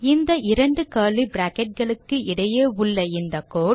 இந்த இரண்டு curly bracket களுக்கு இடையே உள்ள இந்த கோடு